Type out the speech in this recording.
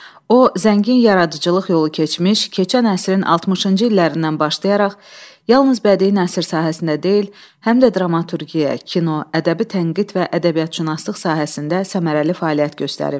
O zəngin yaradıcılıq yolu keçmiş, keçən əsrin 60-cı illərindən başlayaraq yalnız bədii nəsır sahəsində deyil, həm də dramaturgiya, kino, ədəbi tənqid və ədəbiyyatşünaslıq sahəsində səmərəli fəaliyyət göstərib.